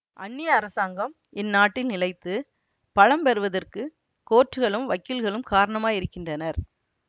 அன்னிய அரசாங்கம் இந்நாட்டில் நிலைத்து பலம் பெறுவதற்குக் கோர்ட்டுகளும் வக்கீல்களும் காரணமாயிருக்கின்றனர்